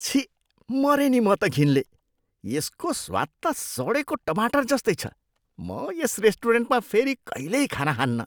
छिः! मरेँ नि म त घिनले! यसको स्वाद त सडेको टमाटर जस्तै छ, म यस रेस्टुरेन्टमा फेरि कहिल्यै खाना खान्नँ।